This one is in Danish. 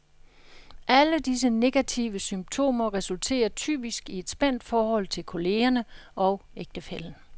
Alle disse negative symptomer resulterer typisk i et spændt forhold til kollegerne og ægtefællen.